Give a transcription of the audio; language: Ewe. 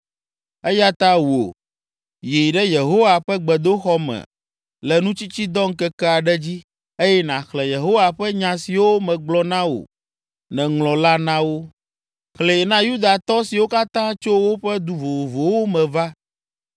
Eya ta wò, yi ɖe Yehowa ƒe gbedoxɔ me le nutsitsidɔ ŋkeke aɖe dzi eye nàxlẽ Yehowa ƒe nya siwo megblɔ na wò nèŋlɔ la na wo. Xlẽe na Yudatɔ siwo katã tso woƒe du vovovowo me va.